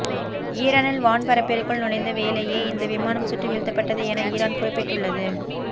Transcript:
ஈரானின் வான்பரப்பிற்குள் நுழைந்தவேளையே இந்த விமானம் சுட்டு வீழ்த்தப்பட்டது என ஈரான் குறிப்பிட்டுள்ளது